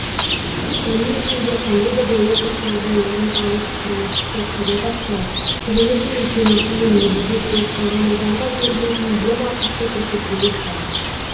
оның ішінде қандай да бір оқыс жағдай орын алып құрылысшы қаза тапса төленетін өтемақы мен мүгедек болып қалған адамға берілетін емақысы көрсетілуі шарт